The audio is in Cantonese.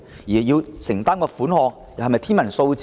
需要承擔的款項，是否天文數字呢？